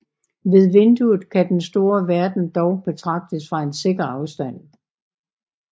Ved vinduet kan den store verden dog betragtes fra en sikker afstand